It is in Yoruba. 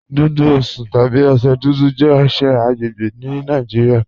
Dùdú Osùn tàbí ọṣẹ̀ dúdú jẹ̀ ọṣẹ̀ agbẹ́gbẹ́ ní Nàìjíríà.